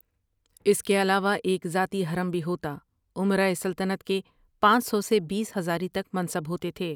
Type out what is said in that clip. اس کے علاوہ ایک ذاتی حرم بھی ہوتا، امرائے سلطنت کے پانچ سو سے بیس ہزاری تک منصب ہوتے تھے۔